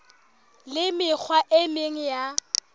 le mekgwa e meng ya